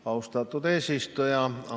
Austatud eesistuja!